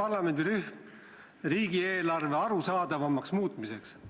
parlamendirühm riigieelarve arusaadavamaks muutmiseks.